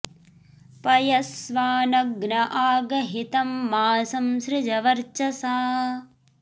पय॑स्वानग्न॒ आ ग॑हि॒ तं मा॒ सं सृ॑ज॒ वर्च॑सा